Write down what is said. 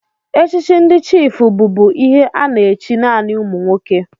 Echichi ndị chiịfụ bụbu ihe a na-echi naanị ụmụ nwoke.